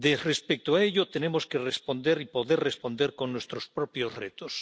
Respecto a ello tenemos que responder y poder responder con nuestros propios retos.